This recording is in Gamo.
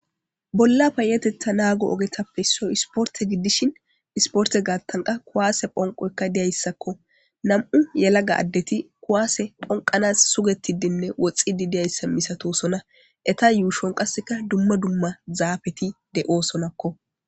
Bolla payetetha naago ogetappe issoy isporte giddishin isporte gaattanqa kuwaase phonqoykka diyayssakko nam'u yelaga addeti kuwaase phonqanas sugetidinne woxxidi diyayssa misatosona eta yuushon qasseka dumma dumma zaafeti de'oosonakko